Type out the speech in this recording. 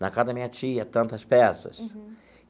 Na casa da minha tia, tantas peças. Uhum.